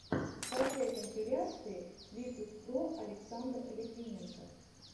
скачай компиляции литуспро александр литвиненко